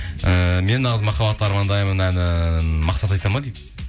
ііі мен нағыз махаббатты армандаймын әнін мақсат айтады ма дейді